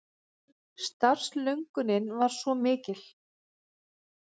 Starfslöngunin var svo mikil.